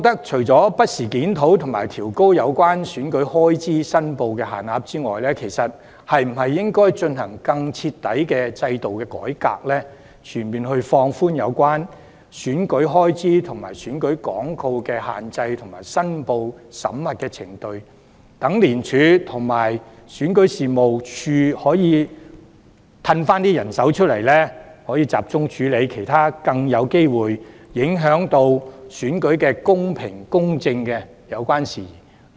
除了不時檢討和調高有關選舉開支的申報門檻之外，當局應否從制度上推行更徹底的改革，全面放寬有關選舉開支和選舉廣告的限制及申報審核程序，使廉署和選舉事務處可以集中人手，處理其他更有機會影響選舉公平公正的事宜？